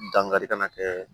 Dankari kana kɛ